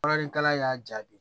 Bɔrɔnin kalan y'a jaabi